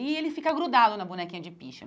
E ele fica grudado na bonequinha de piche.